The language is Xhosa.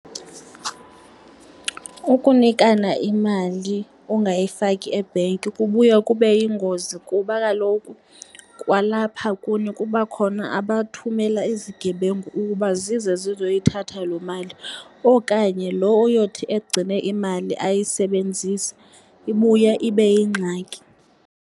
Ukunikana imali ungayifaki ebhenki kubuya kube yingozi, kuba kaloku kwalapha kuni kuba khona abathumela izigebengu ukuba zize zizoyithatha loo mali okanye lo oyothi egcine imali ayisebenzise. Ibuya ibe yingxaki.